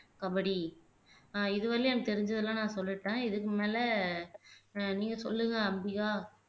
கபடி ஆஹ் இது வரையிலும் எனக்கு தெரிஞ்சதெல்லாம் நான் சொல்லிட்டேன் இதுக்கு மேல ஆஹ் நீங்க சொல்லுங்க அம்பிகா